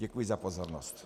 Děkuji za pozornost.